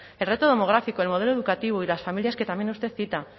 el reto demográfico el modelo educativo y las familias que también usted cita